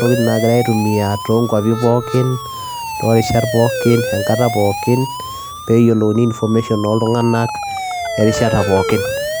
tokin naa kigirae aaitumia erishata pookin